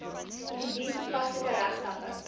indien toepaslik regstappe